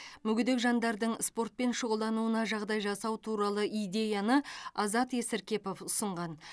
мүгедек жандардың спортпен шұғылдануына жағдай жасау туралы идеяны азат есіркепов ұсынған